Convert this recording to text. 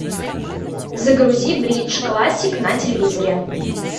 загрузи бридж классик на телевизоре